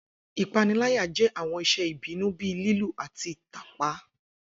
Ipanilaya jẹ awọn iṣe ibinu bii lilu ati tapa.